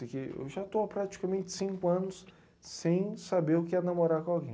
Eu já estou há praticamente cinco anos sem saber o que é namorar com alguém.